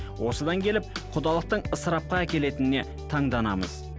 осыдан келіп құдалықтың ысырапқа әкелетініне таңданамыз